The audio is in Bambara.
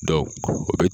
o bi